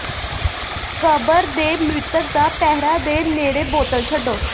ਕਬਰ ਦੇ ਮ੍ਰਿਤਕ ਦਾ ਪਹਿਰਾ ਦੇ ਨੇੜੇ ਬੋਤਲ ਛੱਡੋ